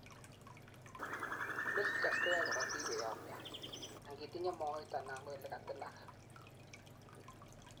platelets koyoe korotik koyomyo angitinyei moet anan ko ole katilak